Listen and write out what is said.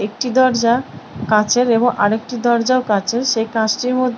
একটি দরজা কাঁচের এবং আর একটি দরজাও কাঁচের সেই কাঁচটির মধ্--